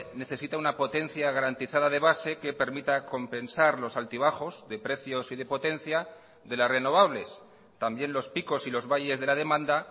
necesita una potencia garantizada de base que permita compensar los altibajos de precios y de potencia de las renovables también los picos y los valles de la demanda